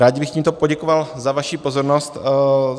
Rád bych tímto poděkoval za vaši pozornost.